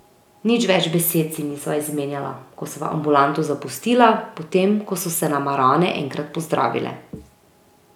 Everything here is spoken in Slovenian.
Nič več besed si nisva izmenjala, ko sva ambulanto zapustila, potem ko so se nama rane enkrat pozdravile.